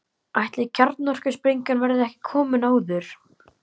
Ætli kjarnorkusprengjan verði ekki komin áður.